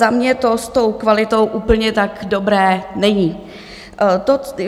Za mě to s tou kvalitou úplně tak dobré není.